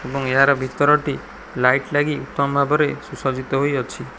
ଏବଂ ଏହାର ଭିତରଟି ଲାଇଟ୍ ଲାଗି ଉତ୍ତମ ଭାବରେ ସୁ ସଜିତ ହୋଇଅଛି।